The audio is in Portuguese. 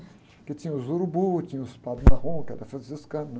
Porque tinha os urubu, tinha os padres marrom, que eram franciscanos, né?